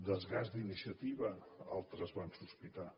desgast d’iniciativa altres van sospitar